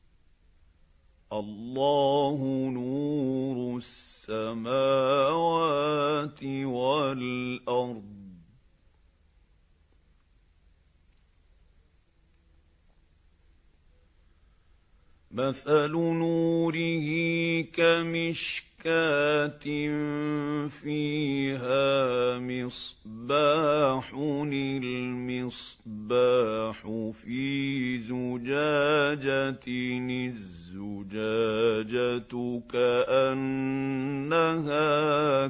۞ اللَّهُ نُورُ السَّمَاوَاتِ وَالْأَرْضِ ۚ مَثَلُ نُورِهِ كَمِشْكَاةٍ فِيهَا مِصْبَاحٌ ۖ الْمِصْبَاحُ فِي زُجَاجَةٍ ۖ الزُّجَاجَةُ كَأَنَّهَا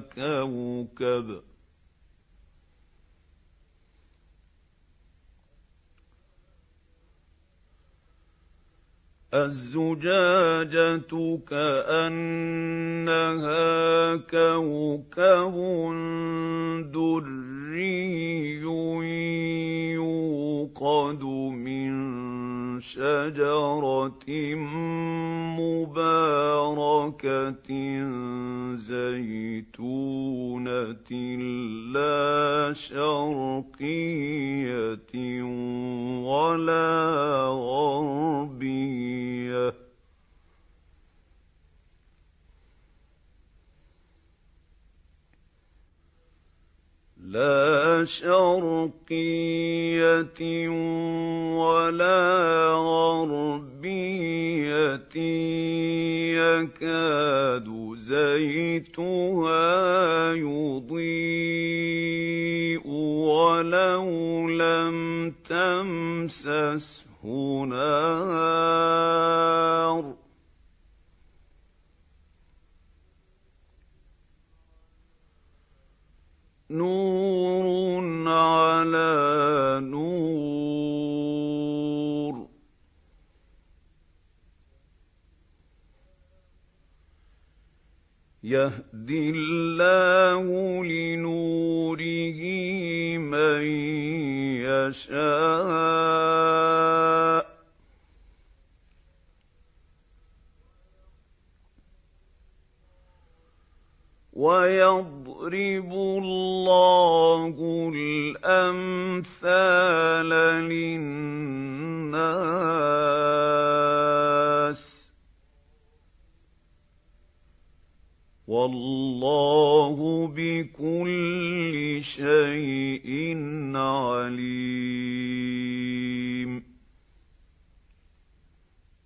كَوْكَبٌ دُرِّيٌّ يُوقَدُ مِن شَجَرَةٍ مُّبَارَكَةٍ زَيْتُونَةٍ لَّا شَرْقِيَّةٍ وَلَا غَرْبِيَّةٍ يَكَادُ زَيْتُهَا يُضِيءُ وَلَوْ لَمْ تَمْسَسْهُ نَارٌ ۚ نُّورٌ عَلَىٰ نُورٍ ۗ يَهْدِي اللَّهُ لِنُورِهِ مَن يَشَاءُ ۚ وَيَضْرِبُ اللَّهُ الْأَمْثَالَ لِلنَّاسِ ۗ وَاللَّهُ بِكُلِّ شَيْءٍ عَلِيمٌ